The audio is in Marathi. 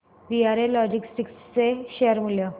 वीआरएल लॉजिस्टिक्स चे शेअर मूल्य